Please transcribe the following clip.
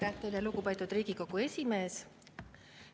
Aitäh teile, lugupeetud Riigikogu esimees!